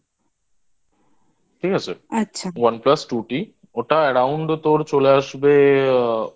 ঠিক আছে? One Plus Two T ওটা Around তোর চলে আসবে